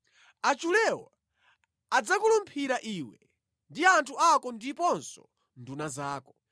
Achulewo adzakulumphira iwe ndi anthu ako ndiponso nduna zako.”